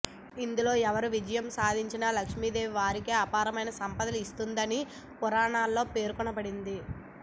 ఇందులో ఎవరు విజయం సాధించినా లక్ష్మీదేవి వారికి అపారమైన సంపదను ఇస్తుందని పురాణాల్లో పేర్కొనబడింది